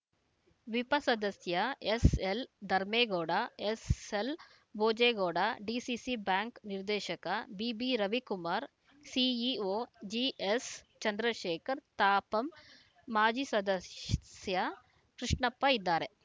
ವಿಪ ಸದಸ್ಯ ಎಸ್‌ಎಲ್‌ಧರ್ಮೇಗೌಡ ಎಸ್‌ಎಲ್‌ಭೋಜೇಗೌಡ ಡಿಸಿಸಿಬ್ಯಾಂಕ್‌ ನಿರ್ದೇಶಕ ಬಿಬಿರವಿಕುಮಾರ್‌ ಸಿಇಒ ಜಿಎಸ್‌ಚಂದ್ರಶೇಖರ್‌ ತಾಪಂ ಮಾಜಿ ಸದಶ್ಯ ಕೃಷ್ಣಪ್ಪ ಇದ್ದಾರೆ